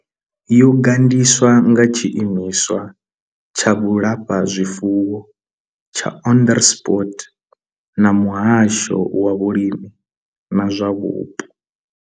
Yo gandiswa nga tshiimiswa tsha vhulafhazwifuwo tsha Onderstepoort na muhasho wa vhulimi na zwa vhupo.